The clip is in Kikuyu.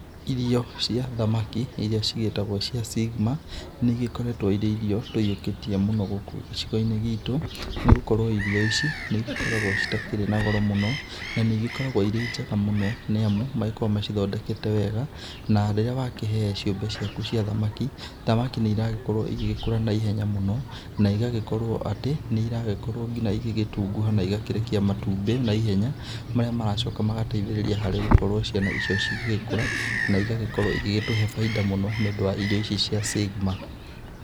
Irio cia thamaki iria cigĩtagwo cia Sigma, nĩ igĩkoretwo irĩ irio tũkĩyũkĩtie mũno gũkũ gĩcigo-inĩ gitũ, nĩ gũkorwo irio ici nĩ igĩkoragwo citakĩrĩ na goro mũno na nĩ igĩkoragwo irĩ njega mũno nĩ amu magĩkoragwo magĩcithondekete wega, na rĩrĩa wakĩhe ciũmbe ciaku cia thamaki, thamaki nĩ iragĩkorwo igĩgĩkũra na ihenya mũno na igagĩkorwo atĩ nĩ iragĩkorwo nginya igĩgĩtunguha na igakĩrekia matumbĩ na ihenya, marĩa maracoka magateithĩrĩria harĩ gũkorwo ciana icio cigĩgĩkũra na igagĩkorwo igĩgĩtũhe baida mũno nĩũndũ wa irio ici cia Sigma.